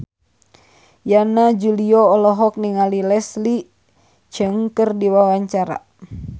Yana Julio olohok ningali Leslie Cheung keur diwawancara